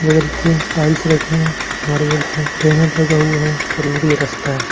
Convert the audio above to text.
बगल पे टाइल्स रखे हैं मार्बलस हैं बैनर लगा हुआ है चलने के लिए रस्ता है।